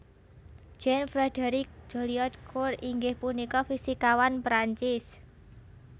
Jean Frédéric Joliot Curie inggih punika fisikawan Prancis